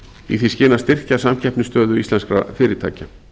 í því skyni að styrkja samkeppnisstöðu íslenskra fyrirtækja